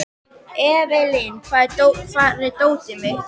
Evelyn, hvar er dótið mitt?